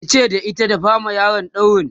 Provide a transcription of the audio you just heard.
yace da ita "ki dafa ma yaron dauri!"